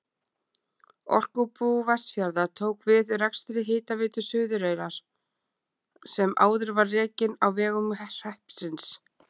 Orkubú Vestfjarða tók við rekstri Hitaveitu Suðureyrar sem var áður rekin á vegum hreppsins.